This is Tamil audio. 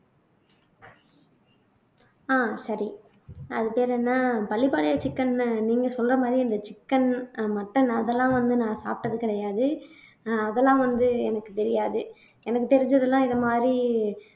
ஆஹ் சரி அது பேர் என்ன பள்ளிபாளையம் chicken ன்னு நீங்க சொல்ற மாதிரி இந்த chicken அஹ் mutton அதெல்லாம் வந்து நான் சாப்பிட்டது கிடையாது அஹ் அதெல்லாம் வந்து எனக்குத் தெரியாது எனக்குத் தெரிஞ்சதெல்லாம் இது மாதிரி